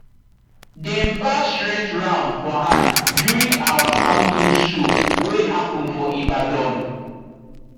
dem pass shears round for hand during our farm tools show wey happen for ibadan